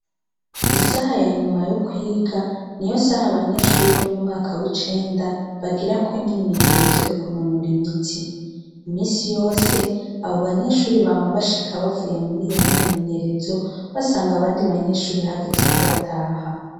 Isaha ya nyuma yo kwiga niyo saha abanyeshuri bo mu mwaka w'icenda bagirako imyimenyerezo yo kunonora imitsi. Imisi yose abo banyeshuri bama bashika bavuye muri iyo myimenyerezo basanga abandi banyeshuri hageze ko bataha.